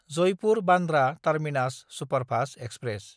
Jaipur-Bandra terminus superfast express